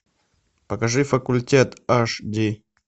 покажи факультет аш ди